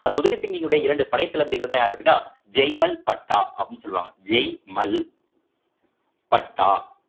அந்த உதய் சிங்கினுடைய இரண்டு படைத்தளபதிகள்தான் யாரு அப்படின்னா ஜெய்மல் பட்டா அப்படின்னு சொல்லுவாங்க ஜெய் மல் பட்டா